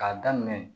K'a daminɛ